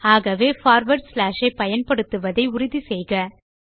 ஆகவே forward slash ஐ பயன்படுத்துவதை உறுதி செய்து கொள்க